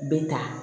Bɛ ta